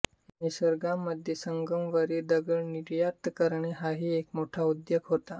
निसर्गामध्ये संगमरवरी दगड निर्यात करणे हाही एक मोठा उद्योग होता